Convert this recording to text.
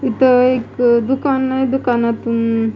इथं एक दुकान आहे दुकानातून--